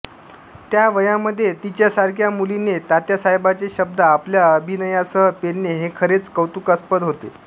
त्या वयामध्ये तिच्यासारख्या मुलीने तात्यासाहेबांचे शब्द आपल्या अभिनयासह पेलणे हे खरेच कौतुकास्पद होते